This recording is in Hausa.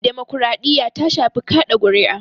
Demokaraɗiya ta shafi kaɗa kuri'a